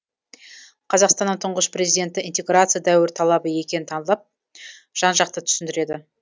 қазақстанның тұңғыш президенті интеграция дәуір талабы екенін талдап жан жақты түсіндіреді